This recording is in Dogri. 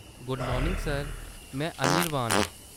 गुड मार्निंग सर, में अनिर्बान आं।